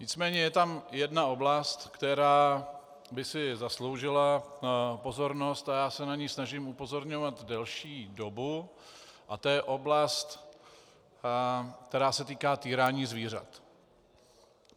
Nicméně je tam jedna oblast, která by si zasloužila pozornost a já se na ni snažím upozorňovat delší dobu, a to je oblast, která se týká týrání zvířat.